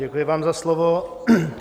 Děkuji vám za slovo.